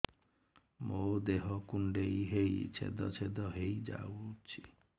ମୋ ଦେହ କୁଣ୍ଡେଇ ହେଇ ଛେଦ ଛେଦ ହେଇ ଯାଉଛି